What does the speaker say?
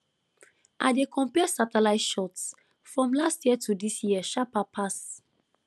i dey compare satellite shots from last year to this year sharper pass